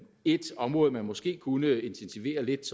et område man måske kunne intensivere lidt